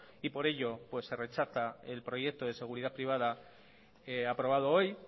y por ello se rechaza el proyecto de seguridad privada aprobado hoy